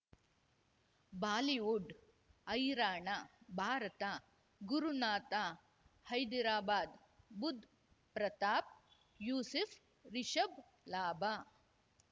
Bollywood ಹೈರಾಣ ಭಾರತ ಗುರುನಾಥ ಹೈದರಾಬಾದ್ ಬುಧ್ ಪ್ರತಾಪ್ ಯೂಸುಫ್ ರಿಷಬ್ ಲಾಭ